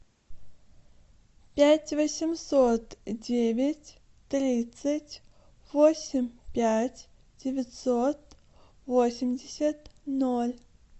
пять восемьсот девять тридцать восемь пять девятьсот восемьдесят ноль